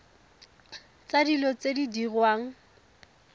tsa dilo tse di diriwang